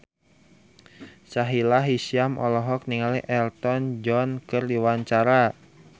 Sahila Hisyam olohok ningali Elton John keur diwawancara